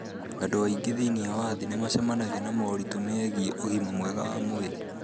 Andũ aingĩ thĩinĩ wa thĩ nĩ macemanagia na moritũ megiĩ ũgima mwega wa mwĩrĩ.